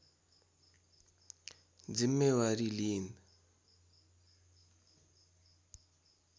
जिम्मेवारी लिइन्